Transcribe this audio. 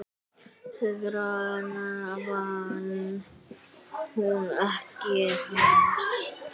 Sigrana vann hún ekki ein.